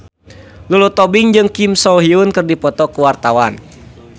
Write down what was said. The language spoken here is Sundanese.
Lulu Tobing jeung Kim So Hyun keur dipoto ku wartawan